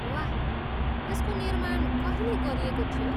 वाह, यसको निर्माण कहिले गरिएको थियो?